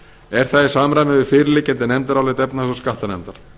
er það í samræmi við fyrirliggjandi nefndarálit efnahags og skattanefndar